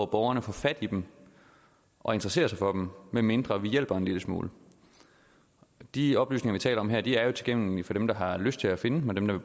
borgerne får fat i dem og interesserer sig for dem medmindre vi hjælper dem en lille smule de oplysninger vi taler om her er jo tilgængelige for dem der har lyst til at finde dem og dem der